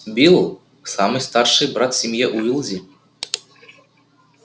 билл самый старший брат в семье уизли